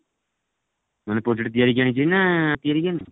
ମାନେ project ଦିଆ ହେଇଛି ଆଣିଛି ନା କିଣିକି ଆଣିଛି?